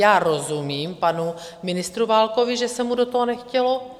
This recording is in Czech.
Já rozumím panu ministru Válkovi, že se mu do toho nechtělo.